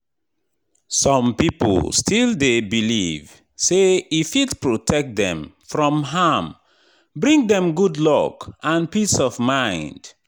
Some people still dey believe say e fit protect dem from harm, bring dem good luck and peace of mind.